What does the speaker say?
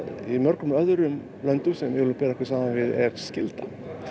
í mörgum öðrum löndum sem við viljum bera okkur saman við er skylda